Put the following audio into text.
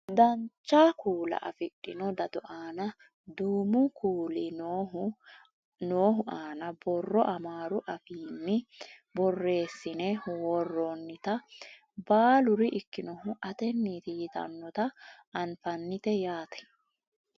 dancha kuula afidhino dado aana duumu kuuli noohu aana borro amaaru afiinni borreessine worroonnita baaluri ikkinohu atenneeti yitannota anafnnite yaate